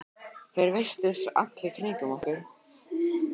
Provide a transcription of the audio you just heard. Þær virtust allt í kringum okkur.